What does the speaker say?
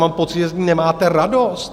Mám pocit, že z ní nemáte radost.